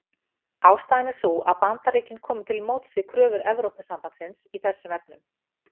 Ástæðan er sú að Bandaríkin komu til móts við kröfur Evrópusambandsins í þessum efnum.